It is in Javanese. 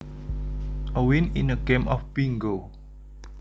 A win in a game of bingo